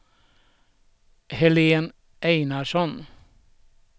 Helén Einarsson